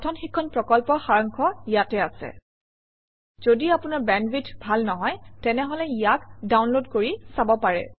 কথন শিক্ষণ প্ৰকল্পৰ সাৰাংশ ইয়াত আছে যদি আপোনাৰ বেণ্ডৱিডথ ভাল নহয় তেনেহলে ইয়াক ডাউনলোড কৰি চাব পাৰে